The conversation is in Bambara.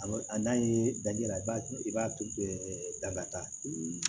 A n'a ye daji la i b'a i b'a tu bɛɛ da ka taa